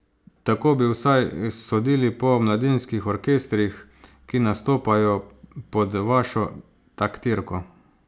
Tako bi vsaj sodili po mladinskih orkestrih, ki nastopajo pod vašo taktirko.